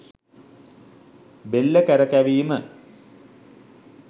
බෙල්ල කරකැවීම